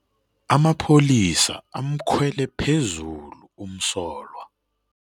Amapholisa amkhwele phezulu umsolwa.